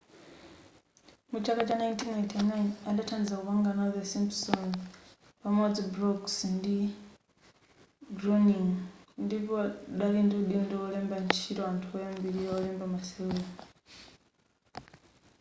mu chaka cha 1989 adathandiza kupanga nawo the simpsons pamodzi brooks ndi groening ndipo dali ndi udindo olemba ntchito anthu oyambilira olemba masewero